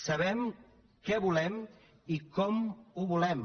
sabem què volem i com ho volem